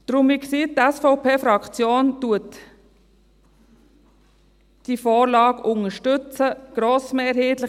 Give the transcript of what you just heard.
Deshalb, wie gesagt, unterstützt die SVP-Fraktion diese Vorlage grossmehrheitlich.